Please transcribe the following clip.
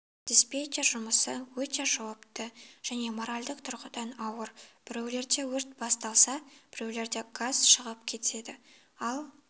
диспетчер жұмысы өте жауапты және моральдік тұрғыдан ауыр біреулерінде өрт басталса біреулерінде газ шығып кетеді ал